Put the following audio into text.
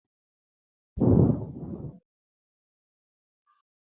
Ọfịs ego ga-ejikwa ego ụlọ ọrụ mgbe niile.